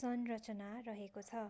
संरचना रहेको छ